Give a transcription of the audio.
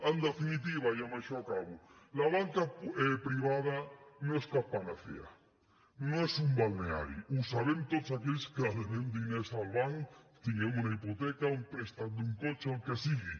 en definitiva i amb això acabo la banca privada no és cap panacea no és un balneari ho sabem tots aquells que devem diners al banc tinguem una hipoteca un préstec d’un cotxe el que sigui